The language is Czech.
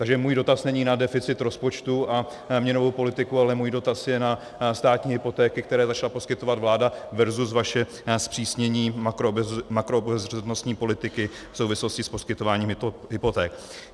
Takže můj dotaz není na deficit rozpočtu a měnovou politiku, ale můj dotaz je na státní hypotéky, které začala poskytovat vláda, versus vaše zpřísnění makroobezřetnostní politiky v souvislosti s poskytováním hypoték.